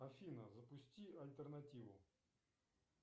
афина запусти альтернативу